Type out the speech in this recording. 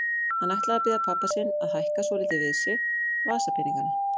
Hann ætlaði að biðja pabba sinn að hækka svolítið við sig vasapeningana.